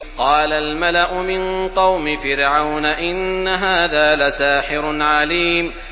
قَالَ الْمَلَأُ مِن قَوْمِ فِرْعَوْنَ إِنَّ هَٰذَا لَسَاحِرٌ عَلِيمٌ